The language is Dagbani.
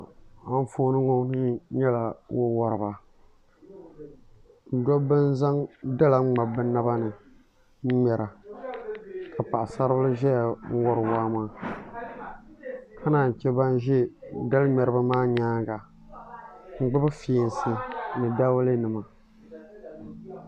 Anfooni ŋo ni nyɛla wo woriba dabba n zaŋ dala ŋmabi bi naba ni n ŋmɛra ka paɣasari bili ʒɛya n wori waa maa ka naan chɛ ban ʒɛ dali ŋmɛribi maa nyaanga n gbubi fiɛnsi ni dawulɛ nima